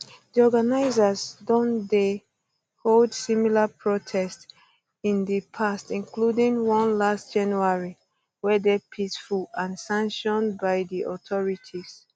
di organisers don don dey hold similar protests in di past including one last january whey dey peaceful and sanction by di authorities